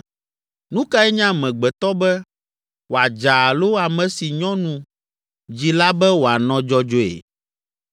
“Nu kae nye amegbetɔ be, wòadza alo ame si nyɔnu dzi la be wòanɔ dzɔdzɔe?